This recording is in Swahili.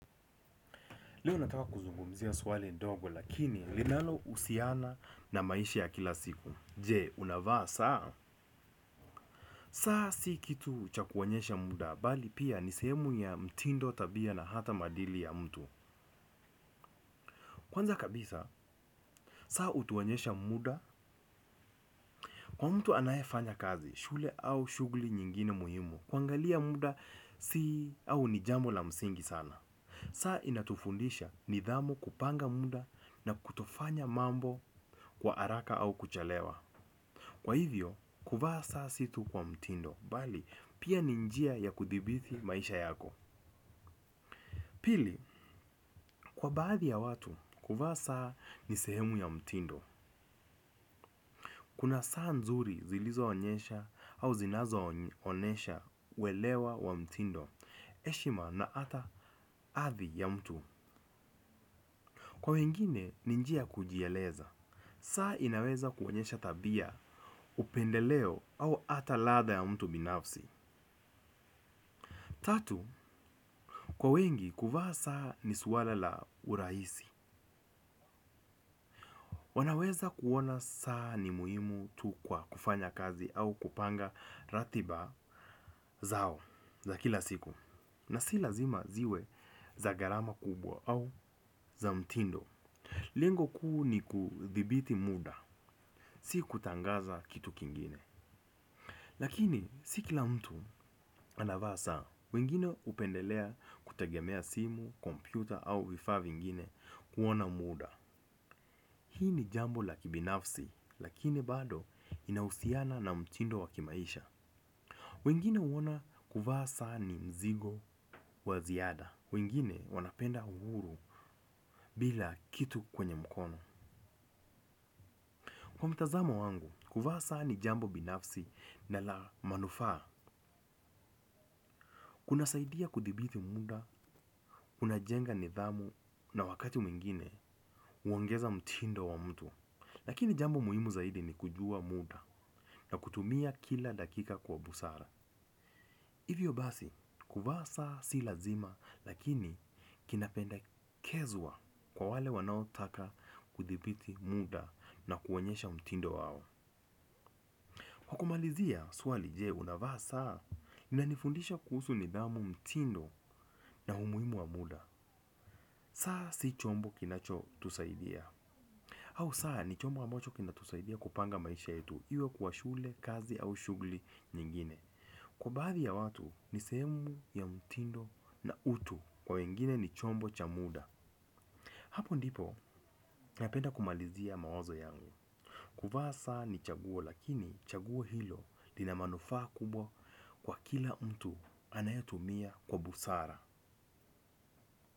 Leo nataka kuzungumzia swali ndogo lakini linalo husiana na maisha ya kila siku. Je, unavaa saa? Saa si kitu cha ku onyesha muda, bali pia ni sehemu ya mtindo tabia na hata maadili ya mtu. Kwanza kabisa, saa hutuonyesha muda, kwa mtu anaye fanya kazi, shule au shughuli nyingine muhimu. Kuangalia muda si au ni jambo la msingi sana. Saa inatufundisha nidhamu kupanga muda na kutofanya mambo kwa haraka au kuchelewa. Kwa hivyo, kuvaa saa si tu kwa mtindo, bali pia ni njia ya kuthibiti maisha yako. Pili, kwa baadhi ya watu, kuvaa saa ni sehemu ya mtindo. Kuna saa nzuri zilizo onyesha au zinazo onyesha uwelewa wa mtindo, heshima na ata hadhi ya mtu. Kwa wengine, ni njia ya kujieleza. Saa inaweza kuonyesha tabia upendeleo au ata ladha ya mtu binafsi. Tatu, kwa wengi kuvaa saa ni swala la urahisi. Wanaweza kuona saa ni muhimu tu kwa kufanya kazi au kupanga ratiba zao za kila siku. Na si lazima ziwe za gharama kubwa au za mtindo. Lengo kuu ni kudhibiti muda. Si kutangaza kitu kingine. Lakini si kila mtu anavaa saa, wengine hupendelea kutegemea simu, kompyuta au vifaa vingine kuona muda. Hii ni jambo la kibinafsi, lakini bado linausiana na mtindo wa kimaisha. Wengine huona kuvaa saa ni mzigo wa ziada. Wengine wanapenda uhuru bila kitu kwenye mkono. Kwa mtazamo wangu, kuvaa saa ni jambo binafsi na la manufaa. Kunasaidia kudhibiti muda kuna jenga nidhamu na wakati mwingine huongeza mtindo wa mtu. Lakini jambo muhimu zaidi ni kujua muda na kutumia kila dakika kwa busara. Hivyo basi kuva saa si lazima lakini kinapendakezwa kwa wale wanao taka kudhibiti muda na kuonyesha mtindo wao. Kwa kumalizia swali je una vaa saa unanifundisha kuhusu nidhamu mtindo na umuhimu wa muda. Saa si chombo kinacho tusaidia. Au saa ni chombo ambacho kinatusaidia kupanga maisha yetu iwe kuwa shule, kazi au shughuli nyingine. Kwa baadhi ya watu ni sehemu ya mtindo na utu. Kwa wengine ni chombo cha muda. Hapo ndipo napenda kumalizia mawazo yangu. Kuvaa saa ni chaguo lakini chaguo hilo lina manufaa kubwa kwa kila mtu anayotumia kwa busara.